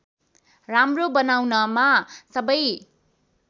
राम्रो बनाउनमा सबै